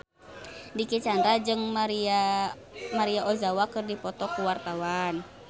Dicky Chandra jeung Maria Ozawa keur dipoto ku wartawan